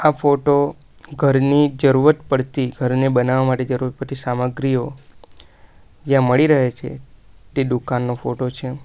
આ ફોટો ઘરની જરૂર પડતી ઘરને બનાવવા માટે જરૂર પડતી સામગ્રીઓ જ્યાં મળી રહે છે તે દુકાન નો ફોટો છે.